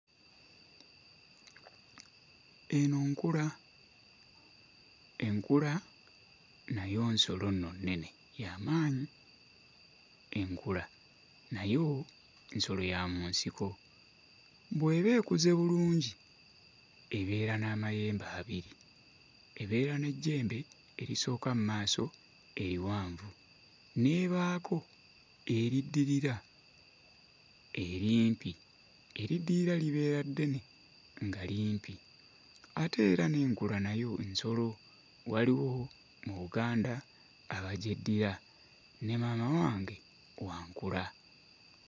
Eno nkula. Enkula nayo nsolo nno nnene ya maanyi. Enkula nayo nsolo ya mu nsiko, bw'eba ekuze bulungi ebeera n'amayembe abiri, ebeera n'ejjembe erisooka mmaaso eriwanvu n'ebaako eriddirira erimpi eriddirira libeera ddene nga limpi ate era n'enkula nayo nsolo waliwo mu Buganda abagyeddira ne maama wange wa nkula.